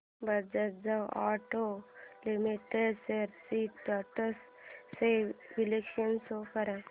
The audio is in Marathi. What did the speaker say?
Bajaj auto limited shares trends चे विश्लेषण शो कर